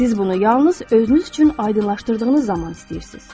Siz bunu yalnız özünüz üçün aydınlaşdırdığınız zaman istəyirsiz.